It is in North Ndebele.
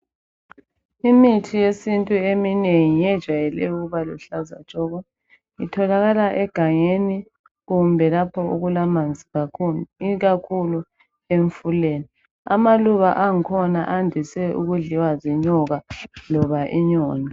Imithi yesintu eminengi iyejwayele ukuba luhlaza tshoko. Itholaka egangeni kumbe lapho okulamanzi kakhulu, ikakhulu emfuleni. Amaluba ang'khona andise ukudliwa zinyoka loba inyoni.